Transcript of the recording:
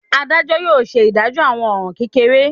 Adajọ yóò ṣe idajọ awọn ọran kekere.